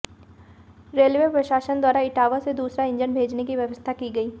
railway प्रशासन द्वारा इटावा से दूसरा इंजन भेजने की व्यवस्था की गई